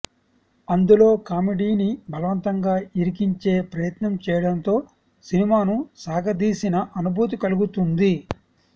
అందులో కామెడీని బలవంతంగా ఇరికించే ప్రయత్నం చేయడంతో సినిమాను సాగతీసిన అనుభూతి కలుగుతుంది